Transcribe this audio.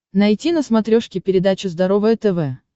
найти на смотрешке передачу здоровое тв